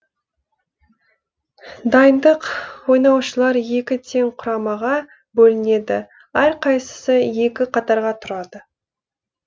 дайындық ойнаушылар екі тең құрамаға бөлінеді әрқайсысы екі қатарға тұрады